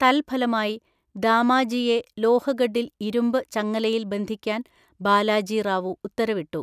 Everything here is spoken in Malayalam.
തൽഫലമായി, ദാമാജിയെ ലോഹഗഡിൽ ഇരുമ്പ് ചങ്ങലയിൽ ബന്ധിക്കാൻ ബാലാജി റാവു ഉത്തരവിട്ടു.